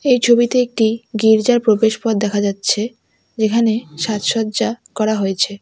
এই ছবিতে একটি গির্জার প্রবেশপথ দেখা যাচ্ছে যেখানে সাজসজ্জা করা হয়েছে।